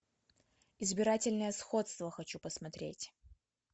избирательное сходство хочу посмотреть